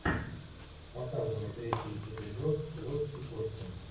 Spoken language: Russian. показывай третий эпизод плоть и кости